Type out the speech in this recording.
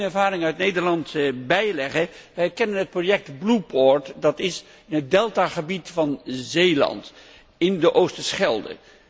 Mag ik daar één ervaring uit Nederland bijleggen? Wij hebben het project Blue Port in het deltagebied van Zeeland, in de Oosterschelde.